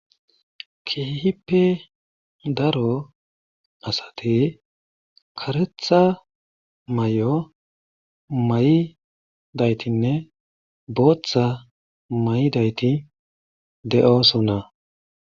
Keehippe daro asati karetha mayo mayidaytinne bootha mayidayti de7oosona.